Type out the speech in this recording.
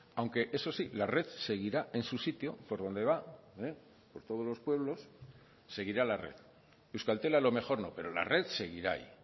aunque eso sí la red seguirá en su sitio por donde va por todos los pueblos seguirá la red euskaltel a lo mejor no pero la red seguirá ahí